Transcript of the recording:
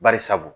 Bari sabu